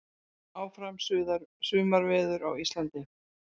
Áfram sumarveður á Íslandi